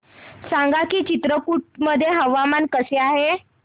सांगा की चित्रकूट मध्ये हवामान कसे आहे